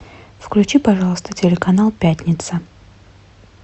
включи пожалуйста телеканал пятница